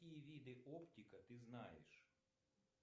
какие виды оптика ты знаешь